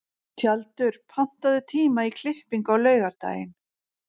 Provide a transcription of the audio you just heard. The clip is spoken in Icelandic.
Tjaldur, pantaðu tíma í klippingu á laugardaginn.